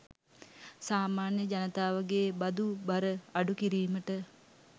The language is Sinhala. සාමාන්‍ය ජනතාවගේ බදු බර අඩු කිරීමට